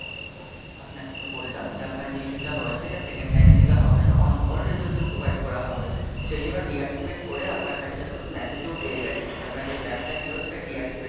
আপনাকে তো বললাম যে আপনার যে issue টা হয়েছে, এটা Second time থেকে হবে না, On Call Rejuvenation Provided করা হবে, সেই জন্য Deactivate করে আপনার কাছে দেখুন এবং message এও পেয়ে গেছেন? যে আপনার যে Pack টা ছিল সেটা Deactivate হয়ে গেছে?